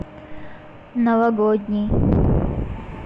новогодний